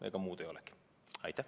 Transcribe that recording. Ega muud ei olegi.